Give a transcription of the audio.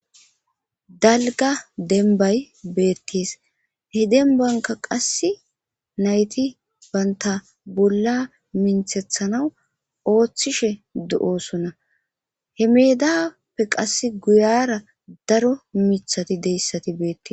dalga denbay beettes he denbanka qass nayti baynta bolla minthethana ooththishe do7osunna he meedappe qass guyara daro mithati deyssati beettes